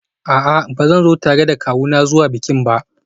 A'a, ba zan zo tare da kawuna zuwa bikin ba